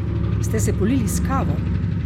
Ste se polili s kavo?